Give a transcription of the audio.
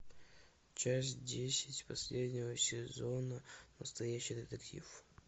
часть десять последнего сезона настоящий детектив